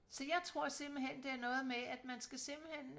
så jeg tror simpelthen det er noget med at man skal simpelthen